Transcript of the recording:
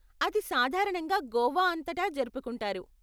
అది సాధారణంగా గోవా అంతటా జరుపుకుంటారు.